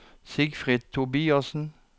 Sigfrid Tobiassen